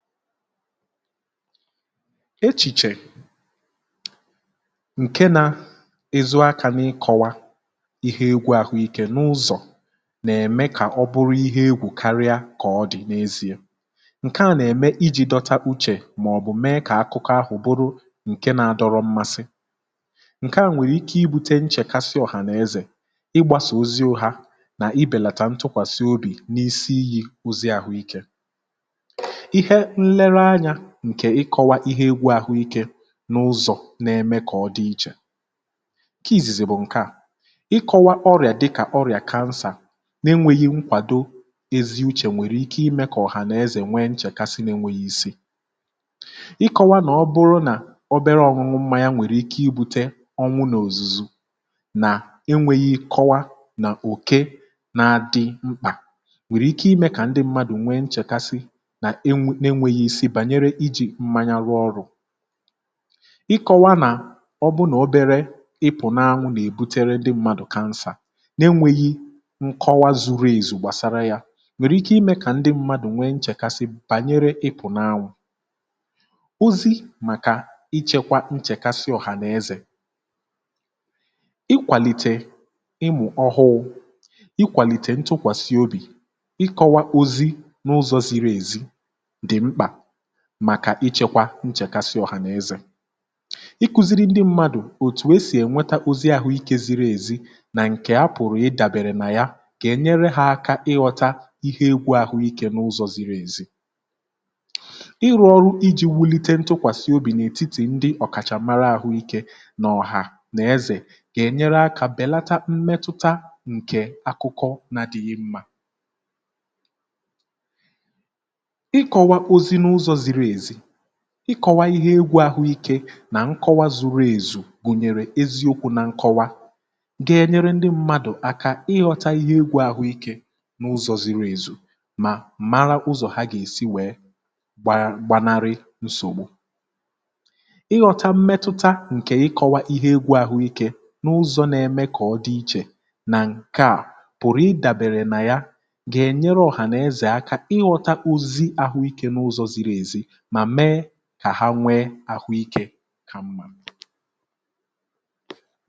Echìchè ǹke nȧ ìzụ akȧ n’ịkọ̇wa ihe egwu̇ àhụikė n’ụzọ̀ nà-ème, kà ọ bụrụ ihe egwù karịa kà ọ dị̀ n’eziė, um ǹke nà-ème iji̇ dọta uchè màọ̀bụ̀ mee kà akụkọ ahụ̀ bụrụ ǹke nȧ-adọrọ mmasị, ǹke à nwèrè ike ibutė nchèkasi ọ̀hà n’ezè ịgbȧsà oziȯ hȧ nà ibèlàtà ntụkwàsị obì n’isi iyi̇ ozi àhụikė, n’ihi na ọ bụrụ n’enweghị nkwàdo eziuchè, nwèrè ike imė kà ọ̀hà n’ezè nwee nchèkasi n’enwėghi ìse ikọwa, nà ọ bụrụ nà obere ọñụñụ mma ya nwèrè ike ibu̇te ọnwụ n’òzùzù nà enwėghi kọwa nà òke na-adị mkpà, nwèrè ike imė kà ndị mmadụ̀ nwee nchèkasi bànyere ijì mmȧnya rụọ ọrụ̇ ịkọ̇wȧ nà ọbụ̇nà obere ịpụ̀ n’anwụ̇ nà-èbutere ndị mmadụ̀ kansà n’enwėghi̇ nkọwa zuru èzù, gbàsara yȧ nwèrè ike imė kà ndị mmadụ̀ nwee nchèkasị bànyere ịpụ̀ n’anwụ̇ ozi, um màkà ichėkwa nchèkasi ọ̀hànaezè ikwàlìtè ịmụ̇ ọhụụ̇, ikwàlìtè ntụkwàsị obì ịkọ̇wa ozi n’ụzọ̇ ziri èzi, màkà ichėkwa nchèkasi ọ̀hànaezè iku̇ziri ndị mmadụ̀ òtù e sì ènweta ozi àhụ ikė ziri èzi, nà ǹkè a pụ̀rụ̀ ịdàbèrè nà ya kà ènyere ha aka ịghọta ihe egwu àhụ ikė n’ụzọ̇ ziri èzi, ịrụ̇ ọrụ iji̇ wulite ntụkwàsị obì n’ètitì ndị ọ̀kàchàmara àhụ ikė nà ọ̀hà nà ezè kà ènyere akȧ bèlata mmetụta ǹkè akụkọ na dịghị mmȧ ikọ̇wa ihe egwu̇ àhụikė nà nkọwa zuru èzù gùnyèrè eziokwu̇ na nkọwa ga-enyere ndị mmadù aka ịghọ̇ta ihe egwu̇ àhụikė n’ụzọ̇ ziri èzù, um mà mara ụzọ̀ ha gà-èsi wèe gbanarị nsògbu, ịghọ̇ta mmetụta nà ikọ̇wa ihe egwu̇ àhụikė n’ụzọ̇ na-eme kà ọ dị ichè nà ǹkè a pụ̀rụ̀ ịdàbèrè nà ya àha nwee ahụ ikė ka mma.